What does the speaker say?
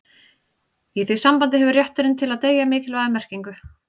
í því sambandi hefur rétturinn til að deyja mikilvæga merkingu